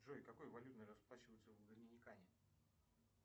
джой какой валютой расплачиваются в доминикане